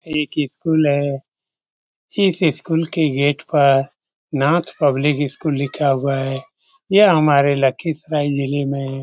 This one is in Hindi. एक इस्कूल है चिस्स स्कूल के गेट पार नाथ पब्लिक इस्कूल लिखा हुआ है यह हमारे लखिसाय जिल्हे में --